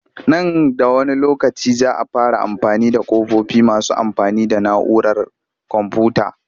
Nan da wani lokaci za a fara amfani da ƙofofi masu amfani da na'urar komfuyuta